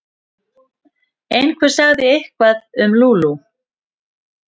Einhver sagði eitthvað um Lóu-Lóu.